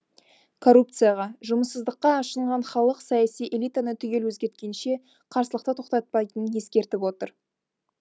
коррупцияға жұмыссыздыққа ашынған халық саяси элитаны түгел өзгерткенше қарсылықты тоқтатпайтынын ескертіп отыр